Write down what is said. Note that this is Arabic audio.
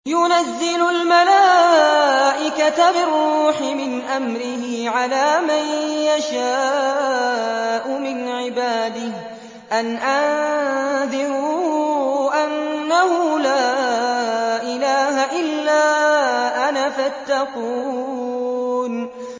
يُنَزِّلُ الْمَلَائِكَةَ بِالرُّوحِ مِنْ أَمْرِهِ عَلَىٰ مَن يَشَاءُ مِنْ عِبَادِهِ أَنْ أَنذِرُوا أَنَّهُ لَا إِلَٰهَ إِلَّا أَنَا فَاتَّقُونِ